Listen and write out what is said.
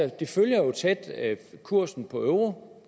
den følger jo kursen på euro